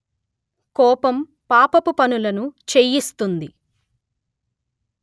కోపం పాపపు పనులు చేయిస్తుంది